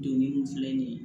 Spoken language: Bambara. Doni min filɛ nin ye